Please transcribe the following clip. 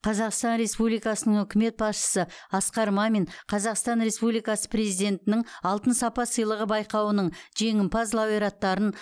қазақстан республикасының үкімет басшысы асқар мамин қазақстан республикасы президентінің алтын сапа сыйлығы байқауының жеңімпаз лауреаттарын